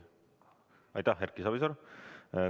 Aitäh, Erki Savisaar!